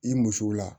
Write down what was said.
I musow la